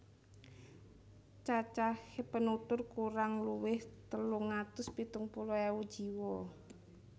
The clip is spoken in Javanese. Cacahé penutur kurang luwih telung atus pitung puluh ewu jiwa